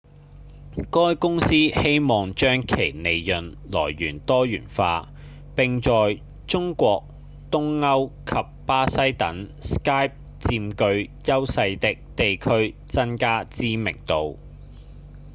該公司希望將其利潤來源多元化並在中國、東歐及巴西等 skype 佔據優勢的地區增加知名度